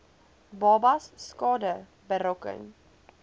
babas skade berokken